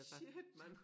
Shit mand